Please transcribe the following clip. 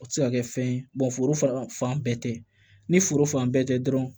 O tɛ se ka kɛ fɛn ye foro fan bɛɛ tɛ ni foro fan bɛɛ tɛ dɔrɔn